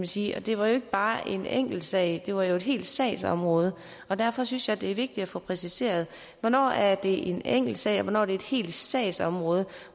sige det var jo ikke bare en enkelt sag det var jo et helt sagsområde derfor synes jeg det er vigtigt at få præciseret hvornår er det en enkeltsag og hvornår er det et helt sagsområde